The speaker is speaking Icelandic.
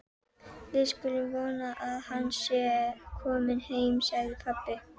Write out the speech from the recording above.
Við skulum vona að hann sé kominn heim, sagði pabbi.